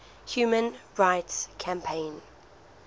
human rights campaign